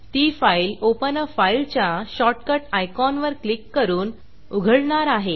ती file open आ file open अ फाइल च्या शॉर्टकट आयकॉनवर क्लिक करून उघडणार आहे